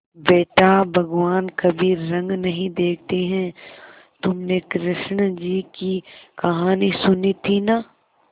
बेटा भगवान कभी रंग नहीं देखते हैं तुमने कृष्ण जी की कहानी सुनी थी ना